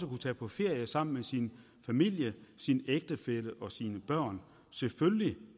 kunne tage på ferie sammen med sin familie sin ægtefælle og sine børn selvfølgelig